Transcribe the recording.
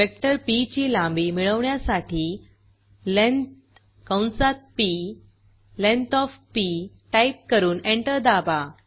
vector P ची लांबी मिळवण्यासाठी लेंथ कंसात P length O F P type करून एंटर दाबा